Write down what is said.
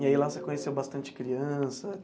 E aí lá você conheceu bastante criança?